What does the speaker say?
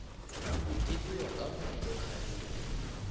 di bewe ka mo dilokharing